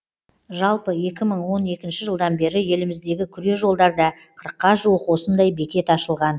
жалпы екі мың он екінші жылдан бері еліміздегі күре жолдарда қырыққа жуық осындай бекет ашылған